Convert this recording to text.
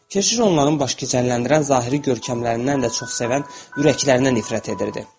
Keşiş onların baş gicəlləndirən zahiri görkəmlərindən də çox sevən ürəklərinə nifrət edirdi.